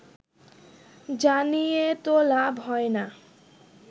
জানিয়ে তো লাভ হয়না